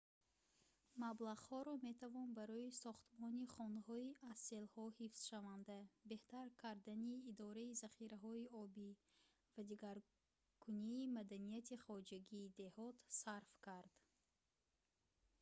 маблағҳоро метавон барои сохтмони хонаҳои аз селҳо ҳифзшаванда беҳтар кардани идораи захираҳои обӣ ва дигаргункунии маданияти хоҷагии деҳот сарф кард